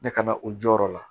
Ne ka na o jɔyɔrɔ la